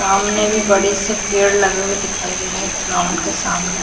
सामने भी बड़ी सी पेड़ लगे हुए दिखाई दे रहे हैं ग्राउंड के सामने।